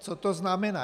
Co to znamená?